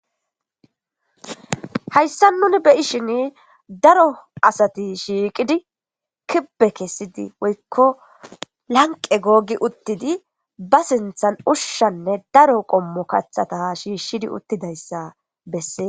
Haysan nuni be'ishin daro asati shiqidi kibe kesidi woyko laniqe gogi utidi ba sinten ushanne daro qomo kathata shishidi utidaysa beses..